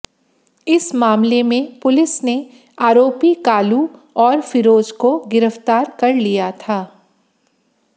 इस मामले में पुलिस ने आरोपी कालू और फिरोज को गिरफ्तार कर लिया था